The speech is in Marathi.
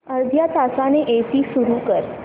अर्ध्या तासाने एसी सुरू कर